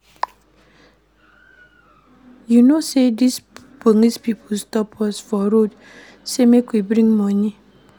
You know sey dese police pipo stop us for road say make we bring moni.